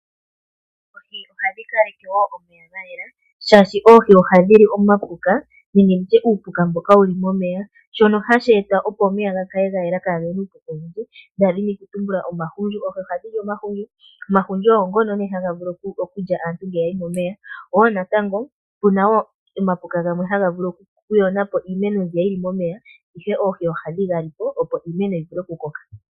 Oohi ohadhi kaleke woo omeya gayela shaashi oohi ohadhi li omapuka nenge nditye uupuka mboka wuli momeya shono hashi eta opo omeya ga kale ga yela kagena iipuka oyindji ngaashi omahundju. Oohi ohadhili omahundju . Omahundju ogo ngono haga vulu okulya aantu ngele yayi momeya woo natango opena woo omapuka gamwe haga vulu okuyonapo iimeno mbiya yili momeya ihe oohi ohadhi ga lipo opo iimeno yivule oku koka.